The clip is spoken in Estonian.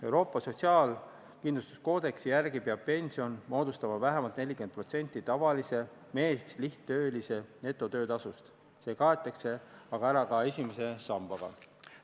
Euroopa sotsiaalkindlustuskoodeksi järgi peab pension moodustama vähemalt 40% tavalise meeslihttöölise netotöötasust, see kaetakse aga ära ka esimese sambaga.